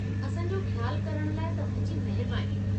असां जो ख़्यालु करण लाइ तव्हां जी महिरबानी।